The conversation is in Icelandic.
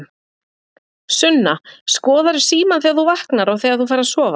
Sunna: Skoðarðu símann þegar þú vaknar og þegar þú ferð að sofa?